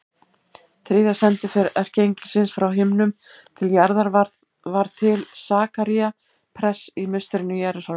Þriðja sendiför erkiengilsins frá himnum til jarðar var til Sakaría prests í musterinu í Jerúsalem.